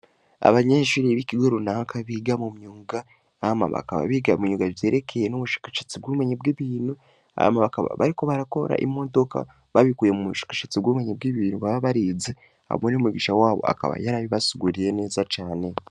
Abanyeshuri b'ikigo runaka biga mu myuga, hama bakaba biga mu myuga ivyerekeye n'ubushakashatsi bw'ubumenyi bw'ibintu, hama bakaba bariko barakora imodoka babikuye mu bushakashatsi bw'ubumenyi bw'ibintu baba barize hamwe n'umwigisha wabo akaba yarabibasiguriye neza cane.